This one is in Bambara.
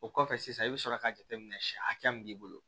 O kɔfɛ sisan i bɛ sɔrɔ ka jateminɛ siyɛn hakɛ min b'i bolo